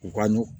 U ka ɲɔ